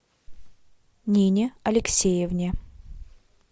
нине алексеевне